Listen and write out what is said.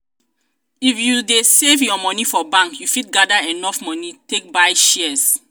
if you dey save your moni for bank you fit gada enough moni take buy shares.